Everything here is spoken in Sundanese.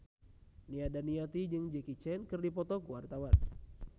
Nia Daniati jeung Jackie Chan keur dipoto ku wartawan